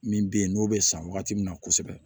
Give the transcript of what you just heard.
Min be yen n'o be san wagati min na kosɛbɛ